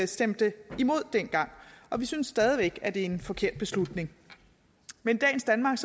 stemte imod dengang og vi synes stadig væk at det er en forkert beslutning men i dagens danmark